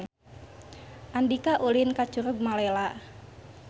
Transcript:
Andika ulin ka Curug Malela